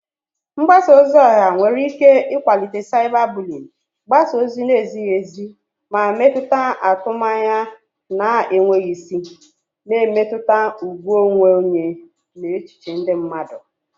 Mgbasa ozi ọha nwere ike ịkwalite cyberbullying, gbasaa ozi na-ezighi ezi, ma mepụta atụmanya na-enweghị isi, na-emetụta ùgwù onwe onye na echiche ndị mmadụ.